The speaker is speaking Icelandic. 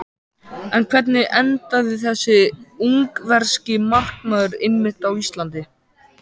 En hvernig endaði þessi ungverski markmaður einmitt á Íslandi?